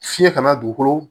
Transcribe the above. Fiɲɛ kana dugukolo